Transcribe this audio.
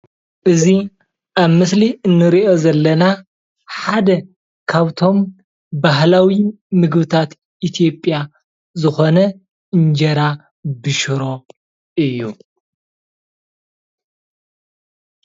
እዚ ኣብ ምስሊ እንሪኦ ዘለና ሓደ ካብ እቶም ባህላዊ ምግብታት ኢትዮጵያ ዝኮነ እንጀራ ብሽሮ እዩ፡፡